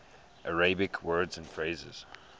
arabic words and phrases